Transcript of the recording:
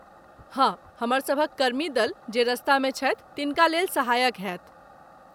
हँ, हमरसभक कर्मी दल, जे रस्तामे छथि तनिका लेल सहायक होयत।